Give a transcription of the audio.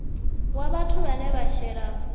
wa vhathu vhane vha shela